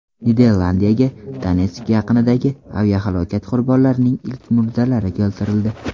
Niderlandiyaga Donetsk yaqinidagi aviahalokat qurbonlarining ilk murdalari keltirildi.